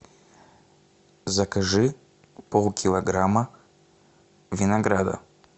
закажи полкилограмма винограда